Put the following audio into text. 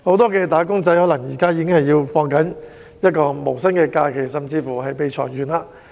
不少"打工仔"現時可能已在放無薪假，甚至已被裁員。